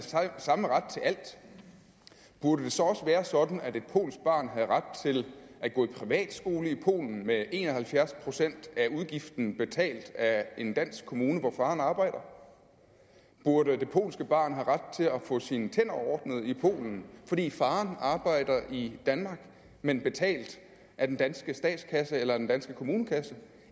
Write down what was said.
samme ret til alt burde det så også være sådan at et polsk barn havde ret til at gå i privatskole i polen med en og halvfjerds procent af udgiften betalt af en dansk kommune hvor faren arbejder burde det polske barn have ret til at få sine tænder ordnet i polen fordi faren arbejder i danmark men betalt af den danske statskasse eller den danske kommunekasse